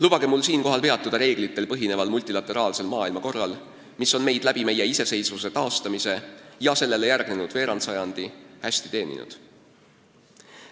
Lubage mul siinkohal peatuda reeglitel põhineval multilateraalsel maailmakorral, mis on meid iseseisvuse taastamisele järgnenud veerandsajandi jooksul hästi teeninud.